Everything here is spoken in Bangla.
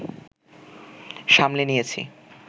সামলে নিয়েছি